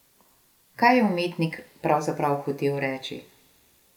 Kaj je umetnik pravzaprav hotel reči?